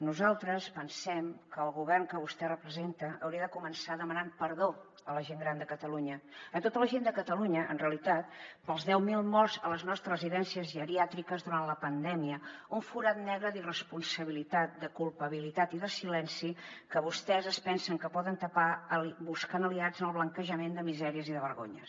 nosaltres pensem que el govern que vostè representa hauria de començar demanant perdó a la gent gran de catalunya a tota la gent de catalunya en realitat pels deu mil morts a les nostres residències geriàtriques durant la pandèmia un forat negre d’irresponsabilitat de culpabilitat i de silenci que vostès es pensen que poden tapar buscant aliats en el blanquejament de misèries i de vergonyes